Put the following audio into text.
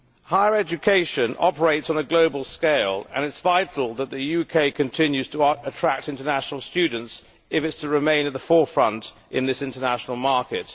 Higher education operates on a global scale and it is vital that the UK continues to attract international students if it is to remain in the forefront in this international market.